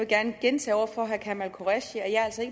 gerne gentage over for herre kamal qureshi at jeg altså